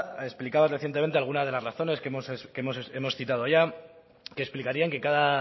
ha explicado recientemente algunas de las razones que hemos citado ya que explicarían que cada